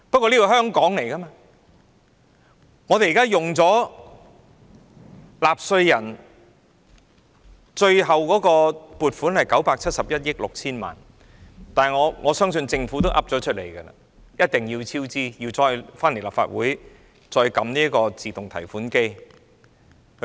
這項工程由納稅人支付，最後使用的撥款是971億 6,000 萬元，而政府亦明言必定會超支，還要再來立法會這個"自動提款機"提款。